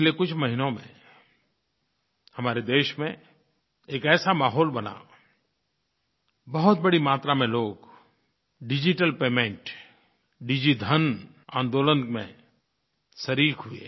पिछले कुछ महीनों में हमारे देश में एक ऐसा माहौल बना बहुत बड़ी मात्रा में लोग डिजिटल पेमेंट डिजिधन आंदोलन में शरीक़ हुए